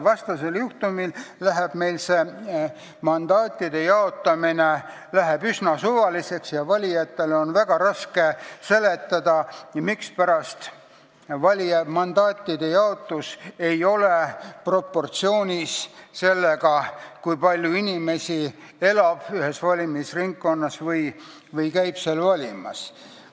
Vastasel juhul läheb meil mandaatide jaotamine üsna suvaliseks ja valijatele on väga raske seletada, mispärast mandaatide jaotus ei ole proportsioonis sellega, kui palju inimesi elab ühes valimisringkonnas või käib seal valimas.